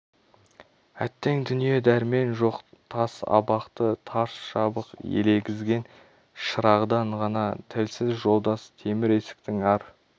әттең дүние дәрмен жоқ тас абақты тарс жабық елегізген шырағдан ғана тілсіз жолдас темір есіктің ар